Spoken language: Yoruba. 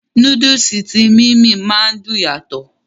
Núdùùsì tí "Mimie" ma dùn yàtọ̀.